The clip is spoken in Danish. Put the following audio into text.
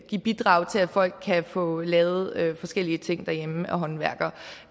give bidrag til at folk kan få lavet forskellige ting derhjemme af håndværkere og